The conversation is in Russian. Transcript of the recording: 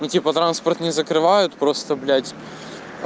ну типа транспорт не закрывают просто блядь